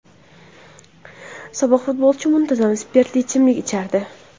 Sobiq futbolchi muntazam spirtli ichimlik ichardi.